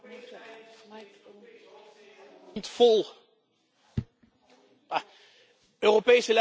Europese leiders in Europese hoofdsteden hebben de mond vol over Europese samenwerking en het wegnemen van barrières.